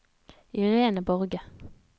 Irene Borge